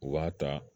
U b'a ta